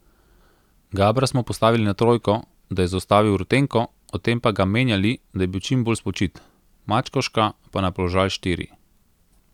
Gabra smo postavili na trojko, da je zaustavil Rutenko, ob tem pa ga menjali, da je bil čim bolj spočit, Mačkovška pa na položaj štiri.